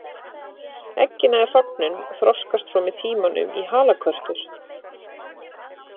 Eggin eða hrognin þroskast svo með tímanum í halakörtur.